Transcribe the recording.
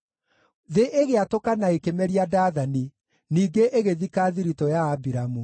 Thĩ ĩgĩatũka na ĩkĩmeria Dathani; ningĩ ĩgĩthika thiritũ ya Abiramu.